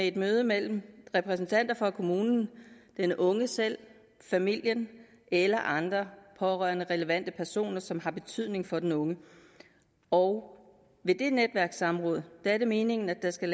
et møde mellem repræsentanter for kommunen den unge selv familien eller andre pårørende eller relevante personer som har betydning for den unge og ved det netværkssamråd er det meningen at der skal